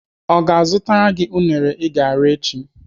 Ọ ga-azụtara gị unere I ga-ara echi?